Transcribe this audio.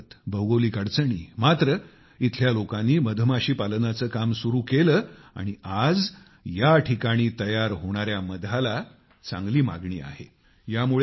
उंच पर्वत भौगोलिक अडचणी मात्र इथल्या लोकांनी मधमाशी पालनाचे काम सुरु केले आणि आज या ठिकाणी तयार होणाऱ्या मधाला चांगली मागणी आहे